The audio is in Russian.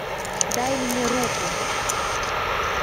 дай мне руку